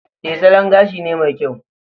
E, salon gashi ne mai kyau